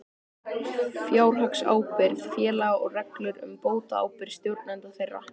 Fjárhagsábyrgð félaga og reglur um bótaábyrgð stjórnenda þeirra.